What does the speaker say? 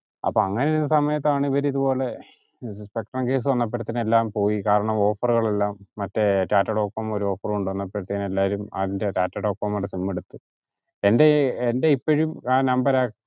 അപ്പൊ അങ്ങനെ ഉള്ള സമയത്താണ് ഇവർ ഇത്പോലെ spectrum case വന്നപ്പോഴത്തേണ് എല്ലാം പോയി കാരണം offer കളെല്ലാം മറ്റേ ടാറ്റഡോകോമോ ഒരു offer കൊണ്ടുവന്നപ്പോഴത്തേന് അതിൻ്റെ ടാറ്റഡോകോമോൻ്റെ sim എടുത്തു എൻ്റെ എൻ്റെ ഇപ്പോഴും അഹ് നമ്പർ ആക്